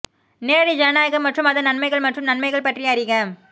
நேரடி ஜனநாயகம் மற்றும் அதன் நன்மைகள் மற்றும் நன்மைகள் பற்றி அறிக